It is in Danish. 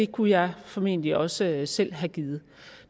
kunne jeg formentlig også selv have givet